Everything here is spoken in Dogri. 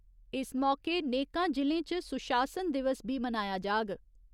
इस मौके नेकां जि'लें च सुशासन दिवस बी मनाया जाग।